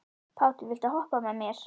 Páll, viltu hoppa með mér?